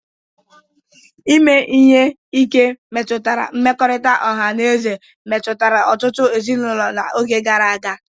Ime ihe ike metụtara mmekọrịta ọha na eze metụtara ọtụtụ ezinụlọ n'oge gara aga.